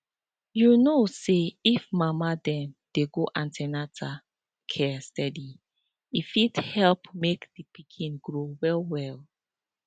you know say if mama dem dey go an ten atal care steady e fit help make the pikin grow well well